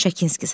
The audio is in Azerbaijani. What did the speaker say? Şakinski.